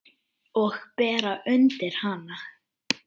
Og bera undir hana.